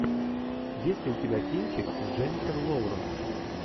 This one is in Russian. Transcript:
есть ли у тебя кинчик с дженифер лоуренс